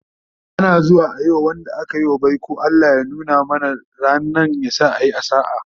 Ana zuwa Yi ma Wanda akayi wa baiko"Allah ya nuna mana rannan, yasa a Yi a sa'a"